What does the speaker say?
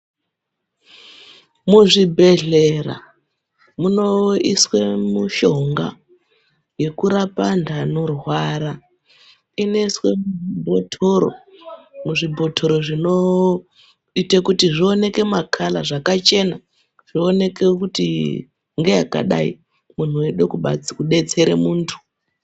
Muzvibhedhlera munoiswe mishonga, yekurapa antu anorwara. Inoiswe mubhothoro, muzvibhothoro zvinoite kuti zvioneke makhala, zvakachena zvioneke kuti ngeyakadai, kuti munhu weide kudetsere muntu.